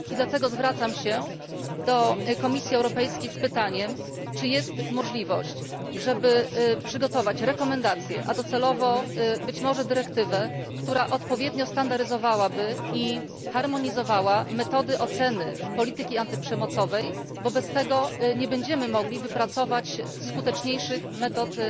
Dlatego zwracam się do Komisji Europejskiej z pytaniem, czy jest możliwość, żeby przygotować rekomendację, a docelowo być może dyrektywę, która odpowiednio standaryzowałaby i harmonizowała metody oceny polityki antyprzemocowej, bo bez tego nie będziemy mogli wypracować skuteczniejszych metod